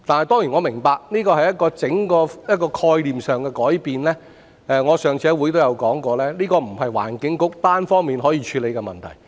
當然我明白這是整個概念上的改變，我上次在會議上也說過，這不是環境局單方面可以處理的問題。